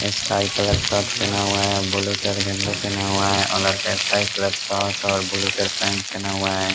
Sky colour shirt पहना हुआ है ब्लू कलर गंजी पहना हुआ है और स्काई कलर शर्ट और ब्लू कलर पैंट पहना हुआ है ।